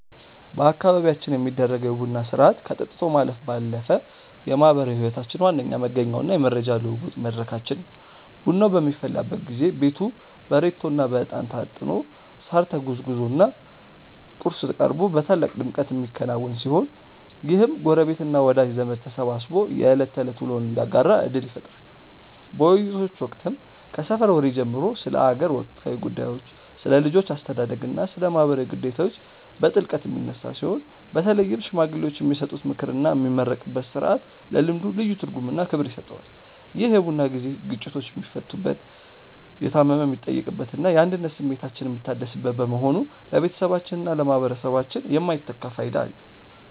በአካባቢያችን የሚደረገው የቡና ሥርዓት ከጠጥቶ ማለፍ ባለፈ የማኅበራዊ ሕይወታችን ዋነኛ መገኛውና የመረጃ ልውውጥ መድረካችን ነው። ቡናው በሚፈላበት ጊዜ ቤቱ በሬቶና በዕጣን ታጥኖ፣ ሳር ተጎዝጉዞና ቁርስ ቀርቦ በታላቅ ድምቀት የሚከናወን ሲሆን፣ ይህም ጎረቤትና ወዳጅ ዘመድ ተሰባስቦ የዕለት ተዕለት ውሎውን እንዲያጋራ ዕድል ይፈጥራል። በውይይቶች ወቅትም ከሰፈር ወሬ ጀምሮ ስለ አገር ወቅታዊ ጉዳዮች፣ ስለ ልጆች አስተዳደግና ስለ ማኅበራዊ ግዴታዎች በጥልቀት የሚነሳ ሲሆን፣ በተለይም ሽማግሌዎች የሚሰጡት ምክርና የሚመረቅበት ሥርዓት ለልምዱ ልዩ ትርጉምና ክብር ይሰጠዋል። ይህ የቡና ጊዜ ግጭቶች የሚፈቱበት፣ የታመመ የሚጠየቅበትና የአንድነት ስሜታችን የሚታደስበት በመሆኑ ለቤተሰባችንና ለማኅበረሰባችን የማይተካ ፋይዳ አለው።